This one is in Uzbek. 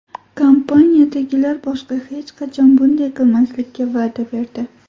Kompaniyadagilar boshqa hech qachon bunday qilmaslikka va’da berdi.